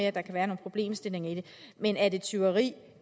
at der kan være nogle problemstillinger i det men er det er tyveri